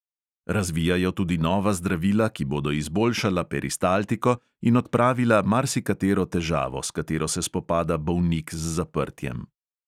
Razvijajo tudi nova zdravila, ki bodo izboljšala peristaltiko in odpravila marsikatero težavo, s katero se spopada bolnik z zaprtjem.